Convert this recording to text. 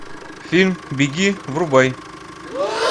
фильм беги врубай